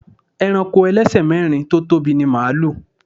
Ẹranko ẹlẹ́sẹ̀ mẹ́rin tó tóbi ni màlúù.